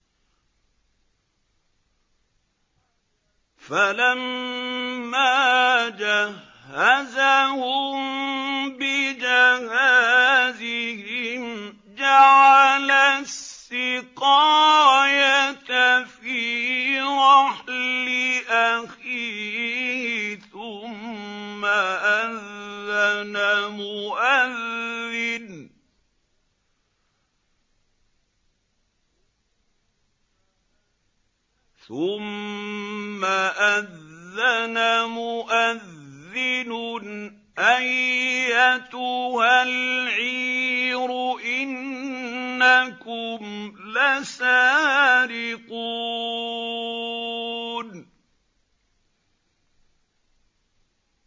فَلَمَّا جَهَّزَهُم بِجَهَازِهِمْ جَعَلَ السِّقَايَةَ فِي رَحْلِ أَخِيهِ ثُمَّ أَذَّنَ مُؤَذِّنٌ أَيَّتُهَا الْعِيرُ إِنَّكُمْ لَسَارِقُونَ